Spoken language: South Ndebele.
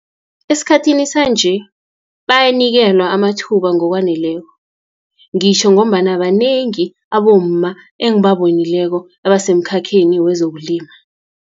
Esikhathini sanje, bayanikelwa amathuba ngokwaneleko, ngitjho ngombana banengi abomma, engibabonileko abasemkhakheni wezokulima.